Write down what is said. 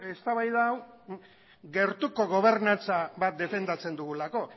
eztabaida hau gertuko gobernatza bat defendatzen dugulako